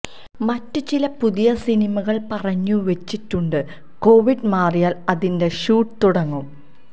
മറ്റ് ചില പുതിയ സിനിമകൾ പറഞ്ഞു വെച്ചിട്ടുണ്ട് കോവിഡ് മാറിയാൽ അതിൻറെ ഷൂട്ട് തുടങ്ങും